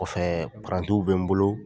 Kɔfɛɛ parantiw bɛ n bolo